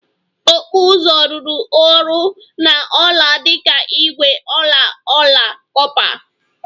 Okpu uzu rụrụ ọrụ na ọla dị ka ígwè, ọla, ọla kọpa